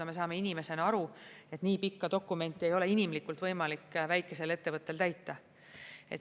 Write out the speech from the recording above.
No me saame inimesena aru, et nii pikka dokumenti ei ole inimlikult võimalik väikesel ettevõttel täita.